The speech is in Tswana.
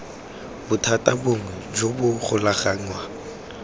bothata bongwe jo bo golaganngwang